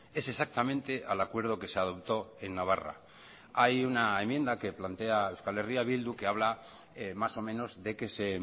es exactamente al acuerdo que se adoptó en navarra hay una enmienda que plantea euskal herria bildu que habla más o menos de que se